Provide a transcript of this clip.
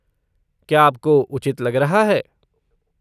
क्या आपको उचित लग रहा है?